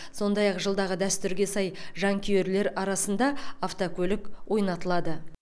сондай ақ жылдағы дәстүрге сай жанкүйерлер арасында автокөлік ойнатылады